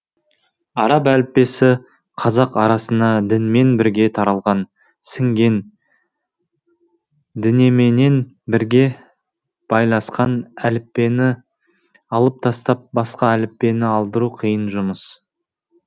араб әліппесі қазақ арасына дінменен бірге таралған сіңген дінеменен бірге байласқан әліппені алып тастап басқа әліппені алдыру қиын жұмыс